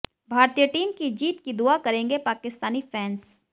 भारतीय टीम की जीत की दुआ करेंगे पाकिस्तानी फैंस